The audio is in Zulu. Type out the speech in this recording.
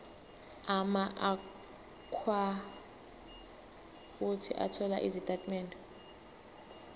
amaakhawunti othola izitatimende